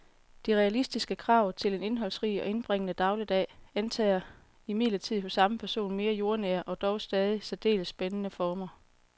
De realistiske krav til en indholdsrig og indbringende dagligdag antager imidlertid hos samme person mere jordnære og dog stadig særdeles spændende former.